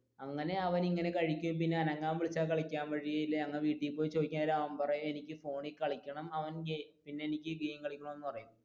അങ്ങനെ അവൻ ഇങ്ങനെ കഴിക്കും പിന്നെ അനങ്ങാൻ വിളിച്ചാൽ അവൻ കളിക്കാൻ വരില്ല ഞങ്ങൾ വീട്ടിൽ പോയി ചോയ്ക്കാൻ നേരം അവൻ പറയും എനിക്ക് ഫോണിൽ കളിക്കണം എനിക്ക് ഗെയിം കളിക്കണം എന്ന് പറയും.